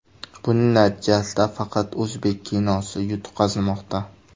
Buning natijasida faqat o‘zbek kinosi yutqazmoqda.